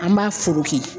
An b'a foki